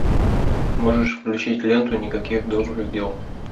можешь включить ленту никаких добрых дел